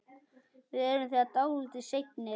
Við erum þegar dálítið seinir.